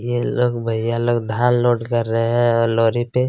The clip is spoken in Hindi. ये लोग भईया लोग धान लोड कर रहै है और लोरी पे--